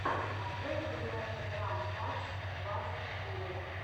открой передача драм падс двадцать четыре